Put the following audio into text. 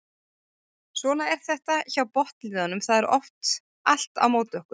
Svona er þetta hjá botnliðunum það er oft allt á móti okkur.